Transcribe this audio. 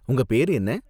உங்க பேரு என்ன?